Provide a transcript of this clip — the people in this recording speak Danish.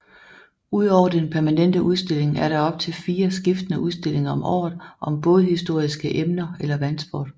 Udover den permanente udstilling er der op til fire skiftende udstillinger om året om bådhistoriske emner eller vandsport